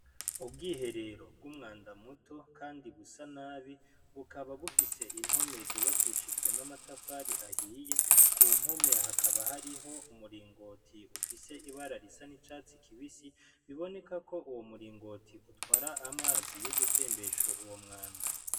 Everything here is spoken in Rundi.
Ubwiherero bw'umwanda muto kandi busa nabi bukaba bufise impome zubakishijwe n'amatafari ahiye, kumpome hakaba hariho umuringoti ufise ibara risa n'icatsi kibisi biboneka ko uwo muringoti utwara amazi yo gutembesha uwo mwanda.